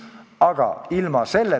Aitäh ja jõudu-jaksu meile!